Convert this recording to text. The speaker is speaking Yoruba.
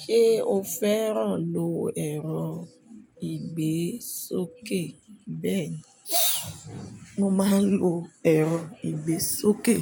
Ṣé o fẹ́ràn lo ẹ̀rọ ìgbésókè? Bẹ́ẹ̀ni, mo máa ń lo ẹ̀rọ ìgbésókè,